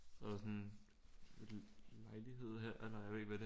Så er der sådan et lejlighed her eller jeg ved ikke hvad det